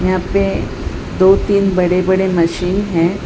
यहां पे दो तीन बड़े बड़े मशीन हैं।